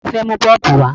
Ta ló fẹ́ mu bọ́ọ̀bù wá?